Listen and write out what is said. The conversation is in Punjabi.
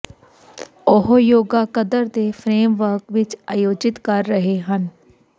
ਉਹ ਯੋਗਾ ਕਦਰ ਦੇ ਫਰੇਮਵਰਕ ਵਿੱਚ ਆਯੋਜਿਤ ਕਰ ਰਹੇ ਹਨ